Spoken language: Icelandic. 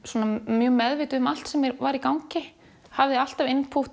mjög meðvituð um allt sem var í gangi hafði alltaf